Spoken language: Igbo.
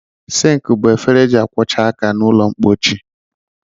Sịnkị bụ efere e ji akwọcha aka n'ụlọmpochi